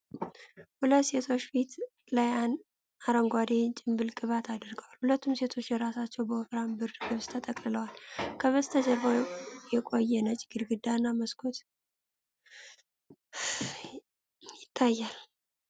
ሁለት ሴቶች ፊት ላይ አረንጓዴ የጭንብል ቅባት አድርገዋል። ሁለቱም ሴቶች እራሳቸውን በወፍራም ብርድ ልብሶች ተጠቅልለዋል። ከበስተጀርባው የቆየ ነጭ ግድግዳና መስኮት ይታያል።